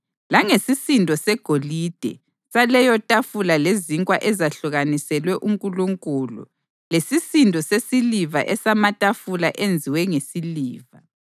langesisindo segolide saleyotafula lezinkwa ezahlukaniselwe uNkulunkulu lesisindo sesiliva esamatafula enziwe ngesiliva;